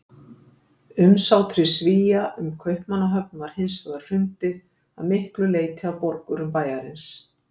Umsátri Svía um Kaupmannahöfn var hins vegar hrundið, að miklu leyti af borgurum bæjarins.